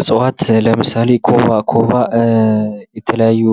እፅዋት ለምሳሌ ካባ፡- ካባ የተለያዩ